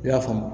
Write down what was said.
I y'a faamu